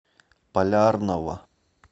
полярного